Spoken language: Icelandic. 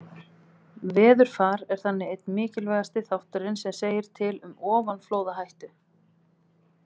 Veðurfar er þannig einn mikilvægasti þátturinn sem segir til um ofanflóðahættu.